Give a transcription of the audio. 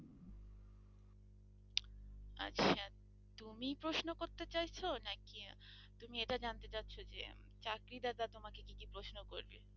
আচ্ছা তুমি প্রশ্ন করতে চাইছ নাকি তুমি এটা জানতে চাচ্ছ যে চাকরিদাতা তোমাকে কি কি প্রশ্ন করবে?